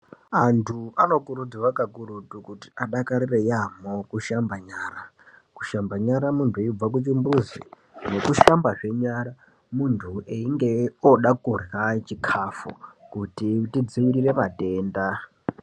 Antu anokurudzirwa kakurutu kuti adakarire yaamho kushamba nyara. Kushamba nyara muntu eibva kuchimbuzi nekushambazve nyara muntu einge oda kurya chikafu kuti tidzirire matenda.